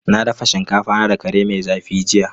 Na dafa shinkafa na da kare mai zafi jiya.